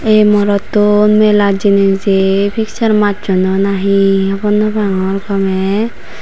ei morotto nelat jenejei piksar macchondoi nahi.